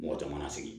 Mɔgɔ caman na sigi